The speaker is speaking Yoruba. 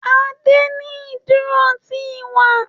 Ade ní iduro ti iwa